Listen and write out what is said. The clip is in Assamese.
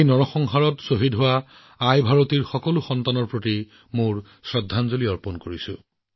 সেই হত্যাকাণ্ডত শ্বহীদ হোৱা মা ভাৰতীৰ সকলো সন্তানক প্ৰণাম জনাইছো